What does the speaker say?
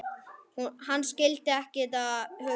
Hann skildi ekki þetta hugtak.